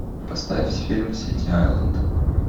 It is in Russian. поставь фильм сити айленд